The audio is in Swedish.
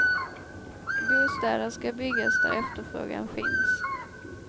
Bostäder ska byggas där efterfrågan finns.